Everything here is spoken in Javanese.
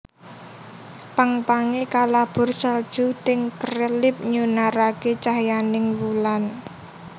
Pang pange kalabur salju ting krelip nyunarake cahyaning wulan